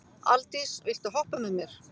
Aldís, viltu hoppa með mér?